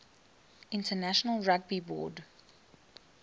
international rugby board